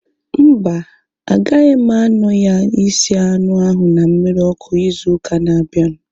Mba, agaghị m anọ ya isi anụ ahu na mmiri ọkụ ịzụ ụka na abianu